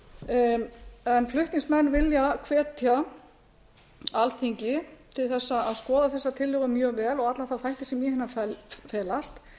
á tóbaki flutningsmenn vilja hvetja alþingi til þess að skoða þessa tillögu mjög vel og alla þá þætti sem í henni felast